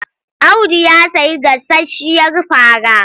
Audu ya sayi gasasshiyar fara.